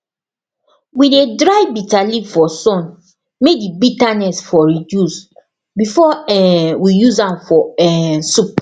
we dey dry bitterleaf for sun may the bitterness for reduce before um we use am for um soup